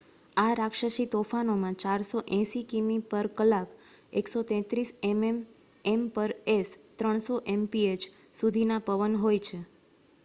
આ રાક્ષસી તોફાનોમાં 480 કિમી/કલાક 133 એમ/એસ ; 300 એમપીએચ્ સુધીના પવન હોય છે